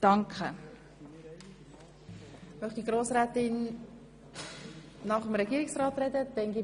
Wünscht die Motionärin nach dem Regierungsrat nochmals das Wort?